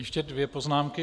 Ještě dvě poznámky.